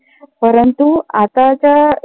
परंतु आताच्या